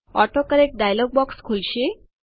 autocorrect dialog box ખુલશે